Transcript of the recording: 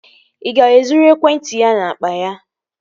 Ị ga-ezuru ekwentị ya n'akpa ya?